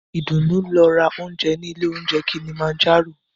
Ìdùnú lọ ra óúnjẹ ní ilé óunjẹ Kilimanjaro.